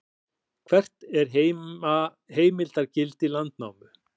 hvert er heimildargildi landnámu